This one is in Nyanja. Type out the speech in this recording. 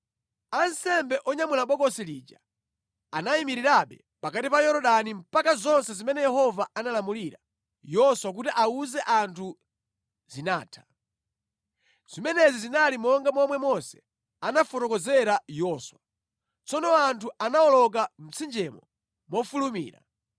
Ansembe onyamula Bokosi lija anayimirirabe pakati pa Yorodani mpaka zonse zimene Yehova analamulira Yoswa kuti awuze anthu zinatha. Zimenezi zinali monga momwe Mose anamufotokozera Yoswa. Tsono anthu anawoloka mtsinjewo mofulumira.